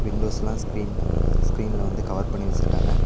விண்டோஸ்லா ஸ்கிரீன்ல ஸ்கிரீன்ல வந்து கவர் பண்ணி வச்சுருக்காங்க.